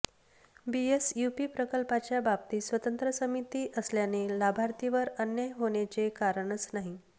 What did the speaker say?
BSUP प्रकल्पाच्या बाबतीत स्वतंत्र समिती असल्याने लाभार्थीवर अन्याय होण्याचे कारणच नाही